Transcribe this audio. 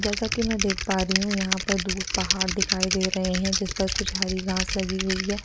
जैसा की मै देख पा रही हु यहाँ पर दूर पहाड़ दिखाई दे रहे है जिसपर कुछ हरी घाँस लगी हुई है।